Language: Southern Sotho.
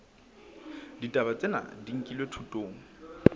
ditaba tsena di nkilwe thutong